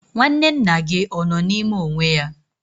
Nwanne nna gị ọ nọ n'ime onwe ya?